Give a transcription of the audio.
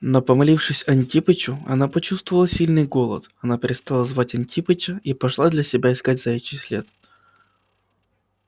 но помолившись антипычу она почувствовала сильный голод она перестала звать антипыча и пошла для себя искать заячий след